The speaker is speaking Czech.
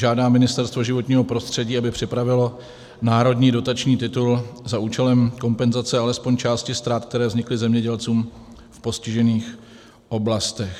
Žádá Ministerstvo životního prostředí, aby připravilo národní dotační titul za účelem kompenzace alespoň části ztrát, které vznikly zemědělcům v postižených oblastech.